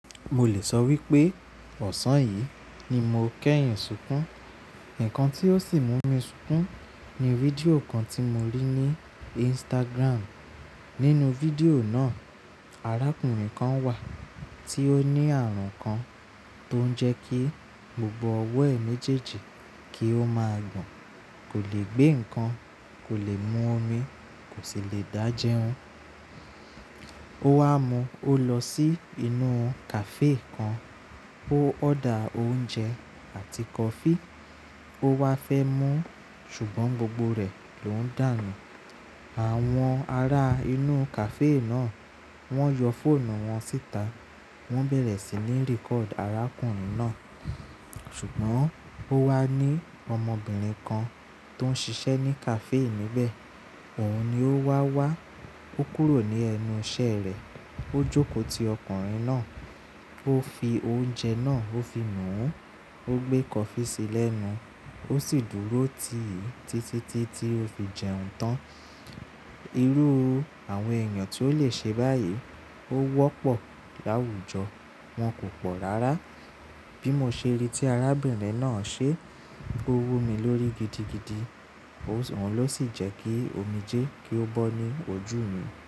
Mo lè sọ wípé ọ̀sán yìí ni mo kẹ́yìn sunkún. Ǹkan tí ó sì mú mi sunkún ni video kan tí mo rí ní Instagram. Nínú video náà, arákùnrin kan wà tí ó ní àrùn kan tó ń jẹ́ kí gbogbo ọwọ́ ẹ̀ méjèèjì kí ó máa gbọ̀n. Kò lè gbé ǹkan, kò lè mú omi, kò sì lè dá jẹun. Ó wá mú ó lọ sí inú cafe kan, ó order oúnjẹ àti kọfí ó wá fẹ́ mú ṣùgbọ́n gbogbo rẹ̀ ló ń dànù. Àwọn ará inú cafe náà wọ́n yọ fóònù wọn síta, wọ́n bẹ̀rẹ̀ sí ní ríkọ̀dù arákùnrin náà. Ṣùgbọ́n ó wá ní ọmọbìnrin kan tó ń ṣiṣẹ́ ní cafe níbẹ̀, òun ni ó wá wá, ó kúrò ní ẹnu iṣẹ́ rẹ̀, ó jókòó ti ọkùnrin náà, ó fi oúnjẹ náà, ó fi nú un, ó gbé kọfí sí lẹ́nu, ó sì dúró tì í títítí tí ó fi jẹun tán. Irú àwọn èèyàn tí ó lè ṣe báyìí ó wọ́pọ̀ láwùjọ, wọn kò pọ̀ rárá. Bí mo ṣe rí tí arábìnrin náà ṣe, ó wú mi lórí gidigidi, òun ló sì jẹ́ kí omijé kí ó bọ́ ní ojú mi.